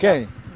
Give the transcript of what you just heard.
Quem?